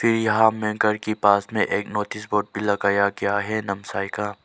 ये यहां में घर के पास में एक नोटिस बोर्ड भी लगाया गया है नमसाइ का।